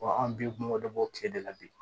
an bi kungo dɔ bɔ tile de la bi